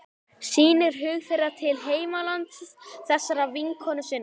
Sýnir hug þeirra til heimalands þessarar vinkonu sinnar.